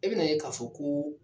E bɛ na ye ka fɔ ko